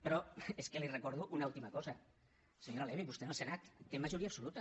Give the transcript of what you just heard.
però és que li recordo una última cosa senyora levy vostè en el senat té majoria absoluta